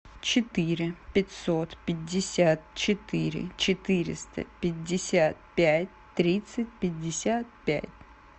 четыре пятьсот пятьдесят четыре четыреста пятьдесят пять тридцать пятьдесят пять